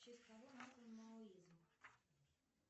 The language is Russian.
в честь кого назван маоизм